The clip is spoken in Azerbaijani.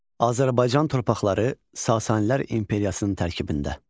Azərbaycan torpaqları Sasaniilər imperiyasının tərkibində.